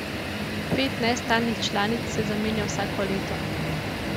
Pet nestalnih članic se zamenja vsako leto.